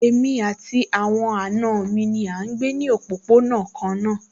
Èmi àti àwọn àna mi náà ń gbé ní òpópónà kan náà